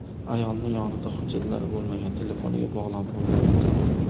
Ayolning yonida hujjatlari bo‘lmagan, telefoniga bog‘lanib bo‘lmayapti.